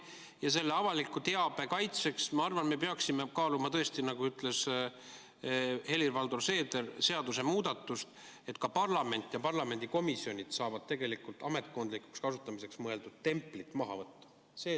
Ja avaliku teabe kaitseks, ma arvan, me peaksime kaaluma tõesti, nagu ütles Helir-Valdor Seeder, seadusemuudatust, et ka parlament ja parlamendi komisjonid saaksid tegelikult ametkondlikuks kasutamiseks mõeldud templit maha võtta.